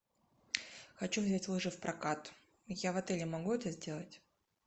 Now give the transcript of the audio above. хочу взять лыжи в прокат я в отеле могу это сделать